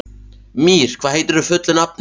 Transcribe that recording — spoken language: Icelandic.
Mír, hvað heitir þú fullu nafni?